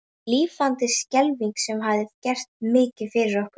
Mikið lifandis skelfing sem þér hafið gert mikið fyrir okkur.